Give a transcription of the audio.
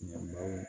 Ɲina baliw